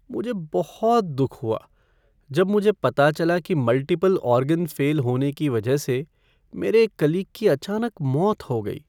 मुझे बहुत दुख हुआ जब मुझे पता चला कि मल्टीपल ऑर्गेन फ़ेल होने की वजह से मेरे एक कलीग की अचानक मौत हो गई।